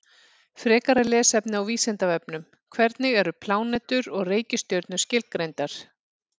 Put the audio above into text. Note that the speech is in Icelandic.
Frekara lesefni á Vísindavefnum: Hvernig eru plánetur og reikistjörnur skilgreindar?